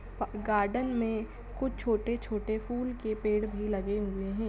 Garden मे कुछ छोटे-छोटे फूल के पेड़ भी लगे हुए है।